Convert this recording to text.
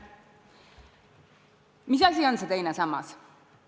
Mis asi on see teine sammas?